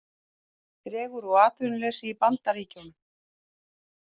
Dregur úr atvinnuleysi í Bandaríkjunum